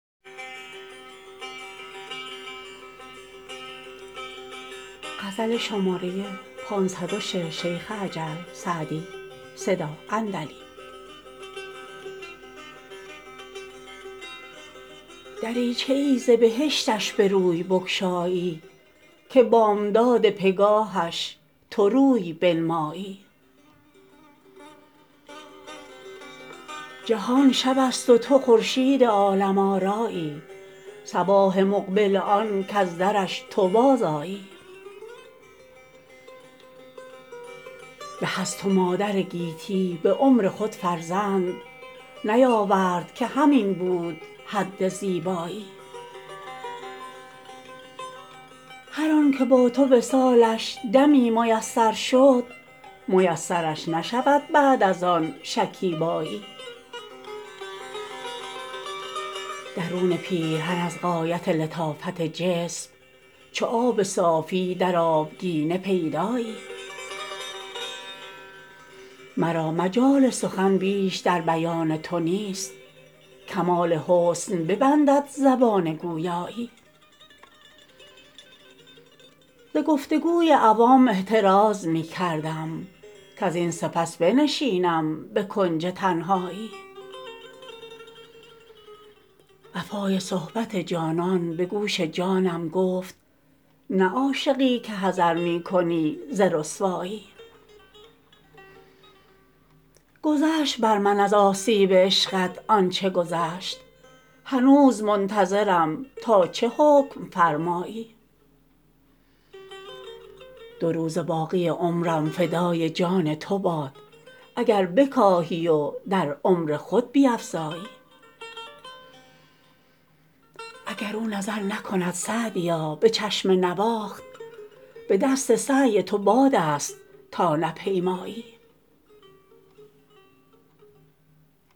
دریچه ای ز بهشتش به روی بگشایی که بامداد پگاهش تو روی بنمایی جهان شب است و تو خورشید عالم آرایی صباح مقبل آن کز درش تو بازآیی به از تو مادر گیتی به عمر خود فرزند نیاورد که همین بود حد زیبایی هر آن که با تو وصالش دمی میسر شد میسرش نشود بعد از آن شکیبایی درون پیرهن از غایت لطافت جسم چو آب صافی در آبگینه پیدایی مرا مجال سخن بیش در بیان تو نیست کمال حسن ببندد زبان گویایی ز گفت و گوی عوام احتراز می کردم کزین سپس بنشینم به کنج تنهایی وفای صحبت جانان به گوش جانم گفت نه عاشقی که حذر می کنی ز رسوایی گذشت بر من از آسیب عشقت آن چه گذشت هنوز منتظرم تا چه حکم فرمایی دو روزه باقی عمرم فدای جان تو باد اگر بکاهی و در عمر خود بیفزایی گر او نظر نکند سعدیا به چشم نواخت به دست سعی تو باد است تا نپیمایی